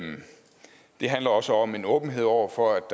det handler også om en åbenhed over for at